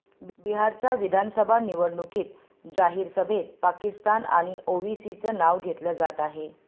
बिहारच्या विधानसभा निवडणुकीत जाहीर सभेत पाकिस्तान आणि ओवैसीचं नाव घेतलं जात आहे